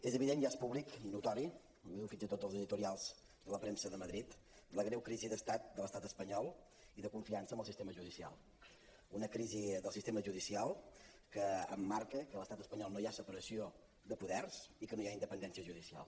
és evident i és pública i notòria ho diuen fins i tot els editorials de la premsa de madrid la greu crisi d’estat de l’estat espanyol i de confiança en el sistema judicial una crisi del sistema judicial que emmarca que a l’estat espanyol no hi ha separació de poders i que no hi ha independència judicial